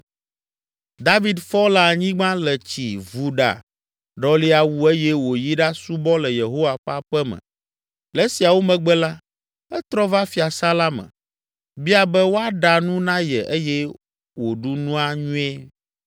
David fɔ le anyigba, le tsi, vu ɖa, ɖɔli awu eye wòyi ɖasubɔ le Yehowa ƒe aƒe me. Le esiawo megbe la, etrɔ va fiasã la me, bia be woaɖa nu na ye eye wòɖu nua nyuie.